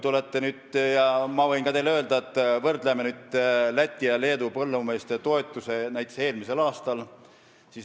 Vaatame Läti ja Leedu põllumeeste toetusi näiteks eelmisel aastal.